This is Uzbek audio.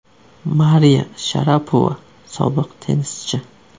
Mariya Sharapova, sobiq tennischi.